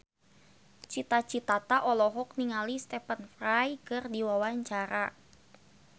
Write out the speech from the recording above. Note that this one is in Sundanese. Cita Citata olohok ningali Stephen Fry keur diwawancara